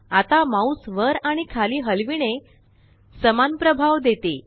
आता माउस वर आणि खाली हलविणे समान प्रभाव देते